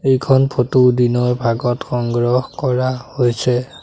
এইখন ফটো দিনৰ ভাগত সংগ্ৰহ কৰা হৈছে।